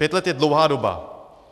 Pět let je dlouhá doba.